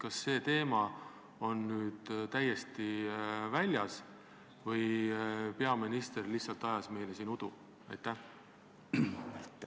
Kas see teema on nüüd täiesti päevakorralt maas või peaminister lihtsalt ajas siin meile udu?